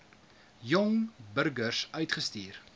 jong burgers uitstuur